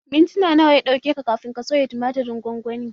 Mintuna nawa ya ɗauke ka soya tumatirin gwangwanin?